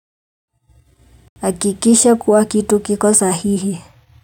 Hakikisha kuwa kitu kiko sahihi.